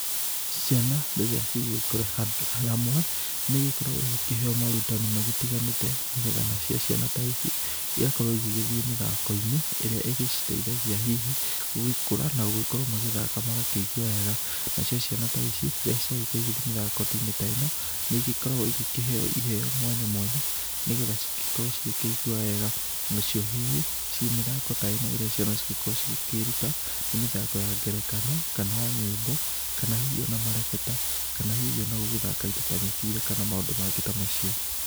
Ciana, rĩrĩa cigũgĩkorũo, handũ, hamwe, nĩigĩkoragũo igĩkĩheo maũrutani magĩtiganĩte, nĩgetha nacio ciana ta ici, igakorũo igĩgĩthiĩ mĩthakoinĩ, ĩrĩa ĩgĩciteithagia hihi gũgĩkũra na gũgĩkorũo magĩthaka magakĩigua wega. Nacio ciana ta ici, rĩrĩa ciagĩkoruo cigĩthiĩ mĩthakoinĩ ta ĩno, nĩigĩkoragũo igĩkĩheo iheo mwanya mwanya, nĩgetha cigĩkorũo cigĩkĩigua wega, nacio hihi, ci mĩthako ta ĩno, ĩrĩa ciana cigĩkoraguo cigĩkĩruta, nĩmĩthako ya ngerekano, kana nyiĩmbo, kana hihi ona marebeta, kana hihi ona gũgĩthaka indo ta mĩbira kana maũndũ mangĩ ta macio.